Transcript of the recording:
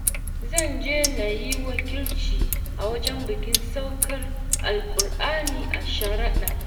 Zan je na yi wakilci a wajen bikin saukar Alkur'ani a sharaɗa.